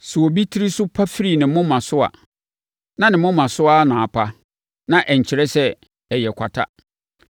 Sɛ obi tiri so pa firi ne moma so a, na ne moma so ara na apa, na ɛnkyerɛ sɛ ɛyɛ kwata.